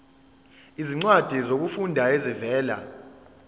izincwadi zokufunda ezivela